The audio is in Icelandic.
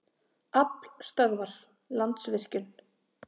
Aflstöðvar- Landsvirkjun.